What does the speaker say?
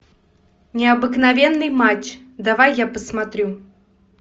необыкновенный матч давай я посмотрю